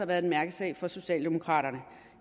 været en mærkesag for socialdemokraterne